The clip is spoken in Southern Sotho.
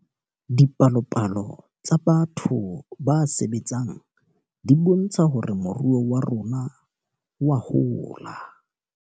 Dipalopalo tsa batho ba sebetseng di bontsha hore moruo wa rona oa hola.